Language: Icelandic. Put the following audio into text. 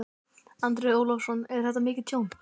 Andri Ólafsson: Er þetta mikið tjón?